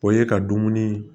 O ye ka dumuni